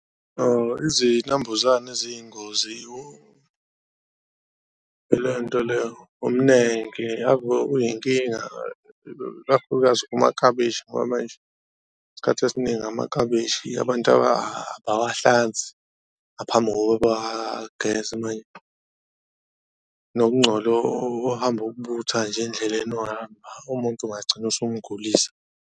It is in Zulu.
Izinambuzane eziyingozi ilento le, umnenke. Ave uyinkinga ikakhulukazi kumakabishi ngoba manje isikhathi esiningi umakabishi abantu abawahlanzi ngaphambi kokuba abagezwe , nokungcola ohamba uwubutha nje endleleni uhamba umuntu ungagcina usumgulisa.